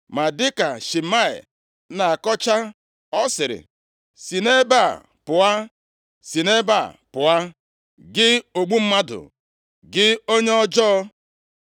Ma dịka Shimei na-akọcha, ọ sịrị, “Si nʼebe a pụọ, si nʼebe a pụọ, gị ogbu mmadụ, gị onye ọjọọ!